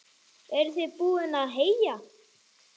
Eruð þið búin að heyja?